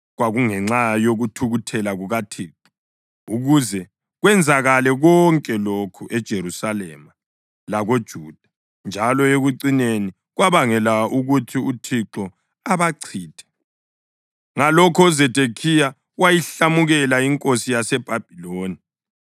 Kwakungenxa yokuthukuthela kukaThixo ukuze kwenzakale konke lokhu eJerusalema lakoJuda, njalo ekucineni kwabangela ukuthi uThixo abachithe. Ngalokho uZedekhiya wayihlamukela inkosi yaseBhabhiloni.